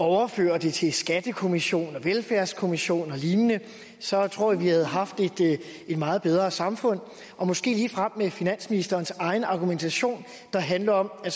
overføre det til skattekommissionen og velfærdskommissionen og lignende så tror jeg at vi havde haft et meget bedre samfund måske ligefrem med finansministerens egen argumentation der handler om at